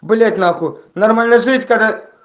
блять нахуй нормально жить когда